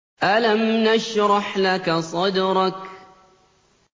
أَلَمْ نَشْرَحْ لَكَ صَدْرَكَ